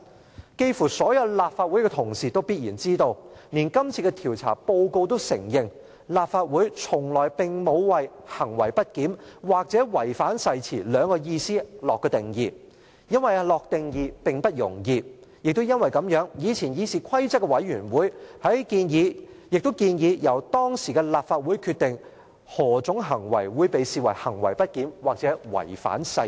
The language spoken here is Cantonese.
差不多所有立法會同事也必然知道，連今次的調查報告也承認，立法會從來並沒有為行為不檢或違反誓言下定義，因為下定義並不容易；過去的議事規則委員會亦因此建議，由當時的立法會決定何種行為會被視為行為不檢或違反誓言。